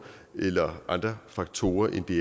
eller andre faktorer end det